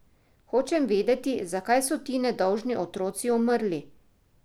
Hočem vedeti, zakaj so ti nedolžni otroci umrli?